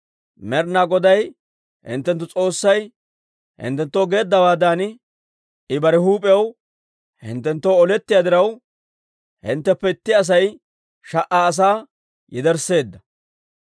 Med'ina Goday hinttenttu S'oossay hinttenttoo geeddawaadan, I bare huup'iyaw hinttenttoo olettiyaa diraw, hintteppe itti Asay sha"a asaa yedersseedda.